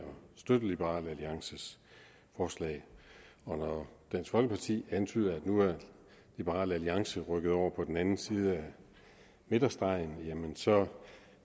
støtte liberal alliances forslag når dansk folkeparti antyder at nu er liberal alliance rykket over på den anden side af midterstregen så